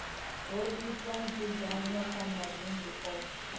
itwa nzudzanyo kha mavunḓu oṱhe